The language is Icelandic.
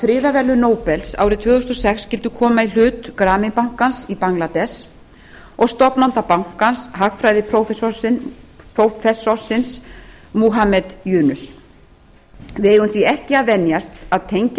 friðarverðlaun nóbels árið tvö þúsund og sex skyldu koma í hlut grameen bankans í bangladess og stofnanda bankans hagfræðiprófessorsins muhammad yunus við eigum því ekki að venjast að tengja